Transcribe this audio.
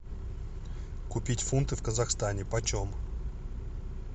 купить фунты в казахстане по чем